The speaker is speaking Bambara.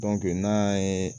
n'a y'a ye